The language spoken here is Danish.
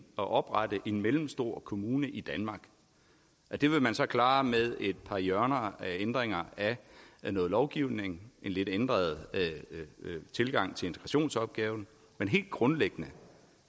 oprette en mellemstor kommune i danmark det vil man så klare med et par hjørner af ændringer af noget lovgivning en lidt ændret tilgang til integrationsopgaven men helt grundlæggende